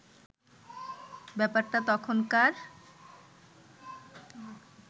ব্যাপারটা তখনকার